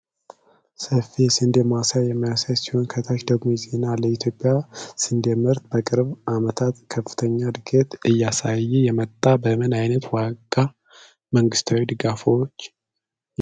ሰፊ የስንዴ ማሳን የሚያሳይ ሲሆን፣ ከታች ደግሞ ዜና አለ። የኢትዮጵያ ስንዴ ምርት በቅርብ ዓመታት ከፍተኛ ዕድገት እያሳየ የመጣው በምን ዓይነት ዋና መንግስታዊ ድጋፎች ነው?